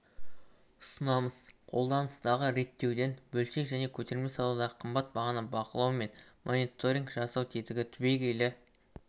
ұсынамыз қолданыстағы реттеуден бөлшек және көтерме саудадағы қымбат бағаны бақылау мен мониторинг жасау тетігі түбегейлі